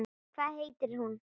Hvað heitir hún?